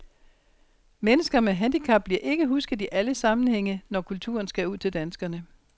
Mennesker med handicap bliver ikke husket i alle sammenhænge, når kulturen skal ud til danskerne.